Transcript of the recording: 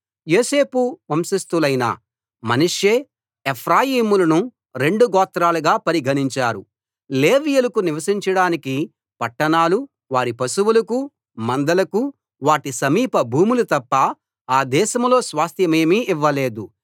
యోసేపు వంశస్తులైన మనష్షే ఎఫ్రాయిములను రెండు గోత్రాలుగా పరిగణించారు లేవీయులకు నివసించడానికి పట్టణాలు వారి పశువులకు మందలకు వాటి సమీప భూములు తప్ప ఆ దేశంలో స్వాస్థ్యమేమీ ఇవ్వలేదు